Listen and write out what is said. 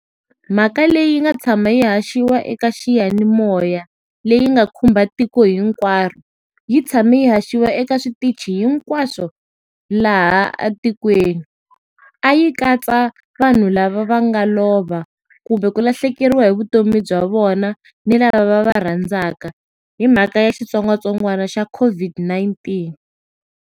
Mhaka leyi nga tshama yi haxiwa eka xiyanimoya, leyi nga khumba tiko hinkwaro, yi tshame yi haxiwa eka switichi hinkwaswo laha atikweni. A yi katsa vanhu lava va nga lova kumbe ku lahlekeriwa hi vutomi bya vona, ni lava va va rhandzaka, hi mhaka ya xitsongwatsongwana xa COVID-19.